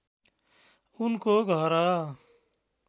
ऊनको घर